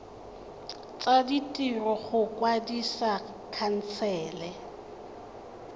tsa ditiro go kwadisa khansele